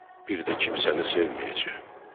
Bir də kimsəni sevməyəcəyəm.